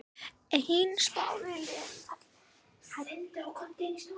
Einn spáði liðinu falli.